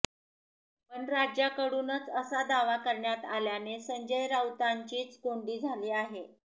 पण राज्याकडूनच असा दावा करण्यात आल्याने संजय राऊतांचीच कोंडी झाली आहे